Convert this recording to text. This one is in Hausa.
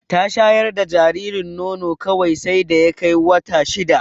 Ta shayar da jaririn nono kawai sai da ya kai wata shida.